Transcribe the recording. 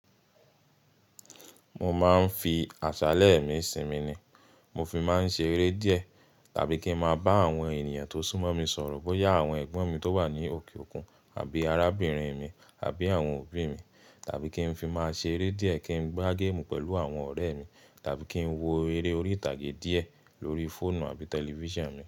Mo máa ń fi àṣálẹ́ mi sinmi ni. Mo fi máa ń ṣe eré díẹ̀ tàbí kí n máa bá àwọn ènìyàn tó súnmọ́ mi sọ̀rọ̀ bóyá àwọn ẹ̀gbọ́n mi tó wà ní òkè òkun àbí arábìnrin mi àbí àwọn òbí mi. Tàbí kí n fi máa ṣe eré díẹ̀ kí n gbá géèmù pẹ̀lú àwọn ọ̀rẹ́ mi tàbí kí n wo eré orí ìtàgé díẹ̀ lórí fóònù àbí tẹlifíṣàn mi.